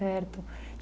Certo.